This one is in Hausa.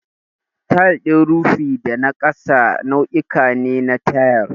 Tayil din rufi da na ƙasa nau'uka ne na tayil.